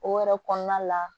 O yɛrɛ kɔnɔna la